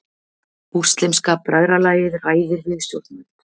Múslímska bræðralagið ræðir við stjórnvöld